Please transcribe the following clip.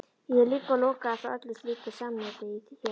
Ég er líka lokaður frá öllu slíku samneyti hér.